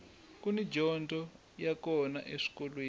kuni dyondzo ya kona eswikolweni